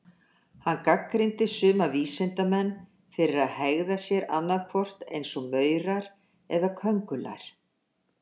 Hann gagnrýndi suma vísindamenn fyrir að hegða sér annað hvort eins og maurar eða köngulær.